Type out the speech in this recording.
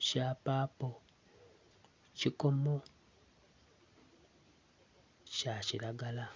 ekyapapo ekyikomo kyakyiragala